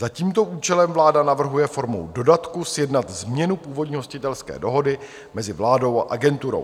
Za tímto účelem vláda navrhuje formou dodatku sjednat změnu původní hostitelské dohody mezi vládou a agenturou.